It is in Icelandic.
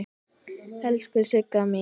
Elsku Sigga mín.